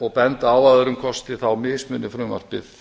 og benda á að öðrum kosti mismunar frumvarpið